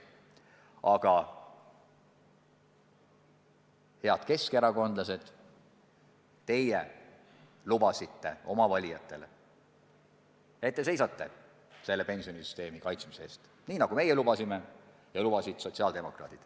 Aga, head keskerakondlased, teie lubasite oma valijatele, et seisate selle pensionisüsteemi kaitsmise eest, nii nagu ka meie lubasime ja lubasid sotsiaaldemokraadid.